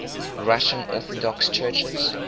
russian orthodox churches